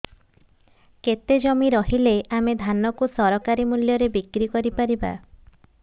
କେତେ ଜମି ରହିଲେ ଆମେ ଧାନ କୁ ସରକାରୀ ମୂଲ୍ଯରେ ବିକ୍ରି କରିପାରିବା